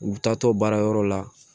U bi taa to baara yɔrɔ la